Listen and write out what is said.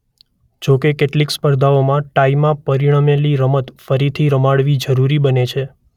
જોકે કેટલીક સ્પર્ધાઓમાં ટાઇમાં પરિણમેલી રમત ફરીથી રમાડવી જરૂરી બને છે.